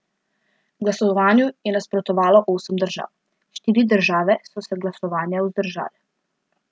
Glasovanju je nasprotovalo osem držav, štiri države so se glasovanja vzdržale.